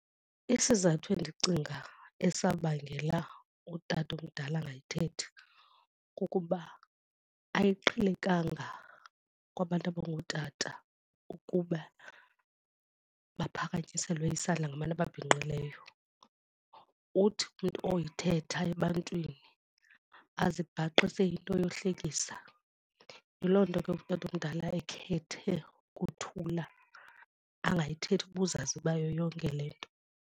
Isizathu endicinga esabangela utatomdala angayithethi kukuba ayiqhelekanga kwabantu abangootata ukuba baphakanyiselwe isandla ngabantu ababhinqileyo. Uthi umntu oyithetha ebantwini azibhaqe seyinto yohlekisa. Yiloo nto ke utatomdala ekhethe ukuthula angayithethi ubuzaza bayo yonke le nto.